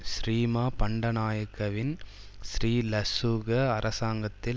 ஸ்ரீமா பண்டநாயக்கவின் ஸ்ரீலசுக அரசாங்கத்தில்